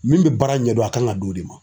Min bɛ baara ɲɛdɔn a kan ka d'o de ma.